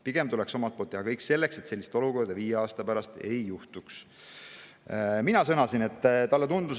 Pigem tuleks teha omalt poolt kõik selleks, et sellist olukorda viie aasta pärast ei.